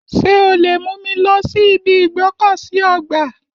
Ṣé o lè mú mi lọ sí ibi ìgbọ́kọ̀sí ọgbà?